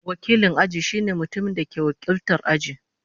Wakilin aji shine mutumin da ke wakiltar aji.